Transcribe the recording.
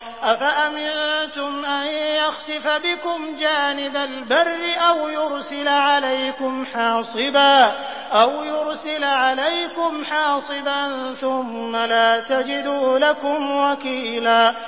أَفَأَمِنتُمْ أَن يَخْسِفَ بِكُمْ جَانِبَ الْبَرِّ أَوْ يُرْسِلَ عَلَيْكُمْ حَاصِبًا ثُمَّ لَا تَجِدُوا لَكُمْ وَكِيلًا